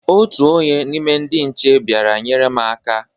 Otu onye n' ime ndị nche bịara nyere m aka.